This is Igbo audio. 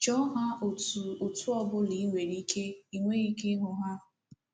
Chọọ ha otú otú ọ ọbụla i nwere ike, i nweghi ike ịhụ ha.